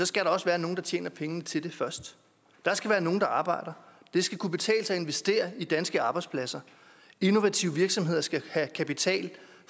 skal der også være nogle der tjener pengene til det først der skal være nogle der arbejder det skal kunne betale sig at investere i danske arbejdspladser innovative virksomheder skal have kapital